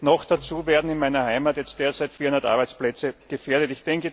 Noch dazu werden in meiner Heimat derzeit 400 Arbeitsplätze gefährdet.